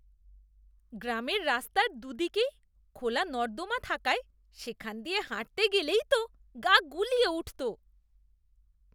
গ্রামের রাস্তার দু'দিকেই খোলা নর্দমা থাকায় সেখান দিয়ে হাঁটতে গেলেই তো গা গুলিয়ে উঠত।